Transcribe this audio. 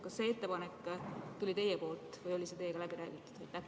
Kas see ettepanek tuli teilt või oli see teiega läbi räägitud?